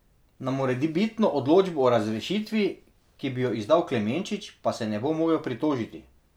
Na morebitno odločbo o razrešitvi, ki bi jo izdal Klemenčič, pa se ne bo mogel pritožiti.